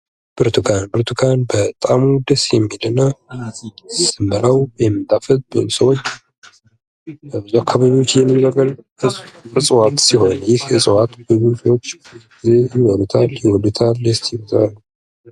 ብርቱካን ብርቱካን በጣእሙ ደስ የሚል እና ስንበላው የሚጣፍጥ ብዙ ሰዎች በአካባቢያችን የሚበቅል እጽዋት ሲሆን ይህ እጽዋት ሰዎች ይወዱታል ይበሉታል።